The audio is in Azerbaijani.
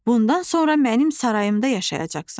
Bundan sonra mənim sarayımda yaşayacaqsan.